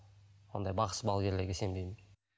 ондай бақсы балгерлерге сенбеймін